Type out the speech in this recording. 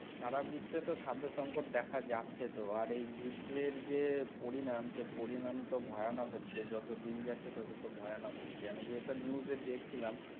সারা বিশ্বে তো খাদ্য সংকট দেখা যাচ্ছে তো আর এই যুদ্ধের যে পরিণাম সেই পরিণাম তো ভয়ানক হচ্ছে, যতদিন যাচ্ছে ততো তো ভয়ানক হচ্ছে, আমি যেটা news এ দেখছিলাম।